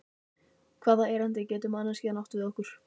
Hvaða erindi getur manneskjan átt við okkur?